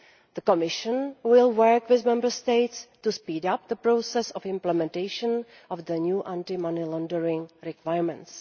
The Commission will work with Member States to speed up the process of implementation of the new anti money laundering requirements.